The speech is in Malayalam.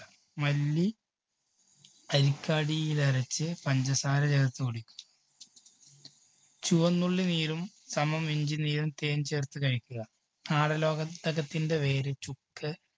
മല്ലി അരച്ച് പഞ്ചസാര ചേർത്ത് കുടിക്കുക ചുവന്നുള്ളി നീരും സമം ഇഞ്ചി നീരും തേൻ ചേർത്തു കഴിക്കുക. ആടലോക~ടകത്തിൻറെ വേര് ചുക്ക്